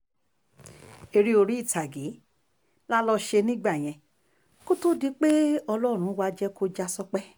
eré orí ìtàgé la lọò ṣe nígbà yẹn kó tóó di pé ọlọ́run wàá jẹ́ kó já sópẹ́